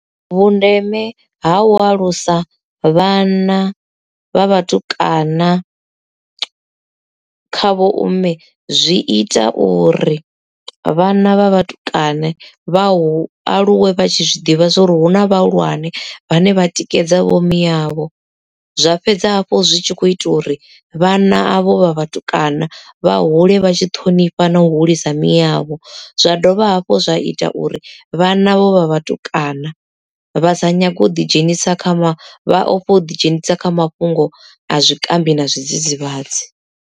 Vhundeme ha u alusa vhana vha vhatukana kha vho-mme zwi ita uri vhana vha vhatukana vha hu aluwe vha tshi zwiḓivha zwauri hu na vhahulwane vhane vha tikedza vho miyavho, zwa fhedza hafhu zwi tshi kho ita uri vhana avho vha vhatukana vha hule vha tshi ṱhonifha na u hulisa miyavho zwa dovha hafhu zwa ita uri vhana vho vha vhatukana vha sa nyage u ḓi dzhenisa kha vha ofhe u ḓi dzhenisa kha mafhungo a zwikambi na zwidzidzivhadzi.